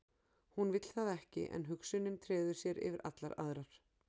Hún vill það ekki en hugsunin treður sér yfir allar aðrar.